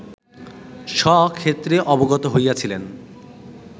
স্বক্ষেত্রে অবগত হইয়াছিলেন